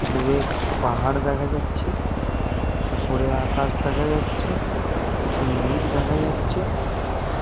দূরে পাহাড় দেখা যাচ্ছে। ওপরে আকাশ দেখা যাচ্ছে। কিছু মেঘ দেখা যাচ্ছে।